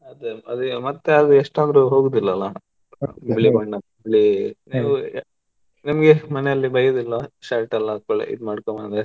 ಅದೇ ಅದೆ ಮತ್ತೆ ಅದು ಎಷ್ಟಂದ್ರು ಹೋಗುದಿಲ್ಲಲ್ಲ, ಬಿಳಿ ಬಣ್ಣ ಬಿಳಿ ನೀವು, ನಿಮ್ಗೇ ಮನೆಲಿ ಬೈಯೋದಿಲ್ವಾ? shirt ಎಲ್ಲಾ ಕೊಳೆ ಇದ್ ಮಾಡ್ಕೊಂಡ್ ಬಂದ್ರೆ?